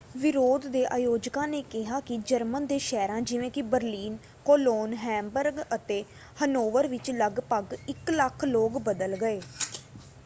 ਵਿਰੋਧ ਦੇ ਆਯੋਜਕਾਂ ਨੇ ਕਿਹਾ ਕਿ ਜਰਮਨ ਦੇ ਸ਼ਹਿਰਾਂ ਜਿਵੇਂ ਕਿ ਬਰਲਿਨ ਕੋਲੋਨ ਹੈਮਬਰਗ ਅਤੇ ਹਨੋਵਰ ਵਿੱਚ ਲਗਭਗ 100,000 ਲੋਕ ਬਦਲ ਗਏ।